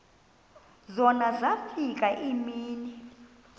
zona zafika iimini